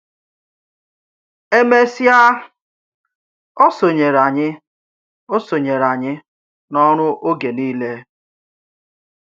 È mésịà, ó sònyèrè ányị̀ ó sònyèrè ányị̀ n’òrù ọ̀gè niilè.